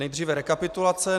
Nejdříve rekapitulace.